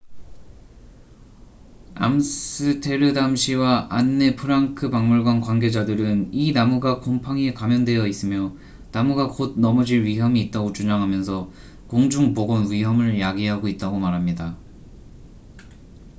암스테르담시와 안네 프랑크 박물관 관계자들은 이 나무가 곰팡이에 감염되어 있으며 나무가 곧 넘어질 위험이 있다고 주장하면서 공중 보건 위험을 야기하고 있다고 말합니다